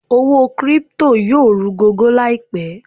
Owó crypto yóò rú gọ́gọ́ láìpẹ̀